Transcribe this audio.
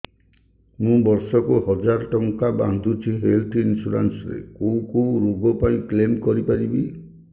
ମୁଁ ବର୍ଷ କୁ ହଜାର ଟଙ୍କା ବାନ୍ଧୁଛି ହେଲ୍ଥ ଇନ୍ସୁରାନ୍ସ ରେ କୋଉ କୋଉ ରୋଗ ପାଇଁ କ୍ଳେମ କରିପାରିବି